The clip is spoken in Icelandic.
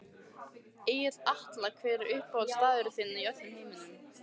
Egill Atla Hver er uppáhaldsstaðurinn þinn í öllum heiminum?